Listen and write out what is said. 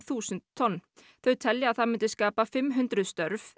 þúsund tonn þau telja að það myndi skapa fimm hundruð störf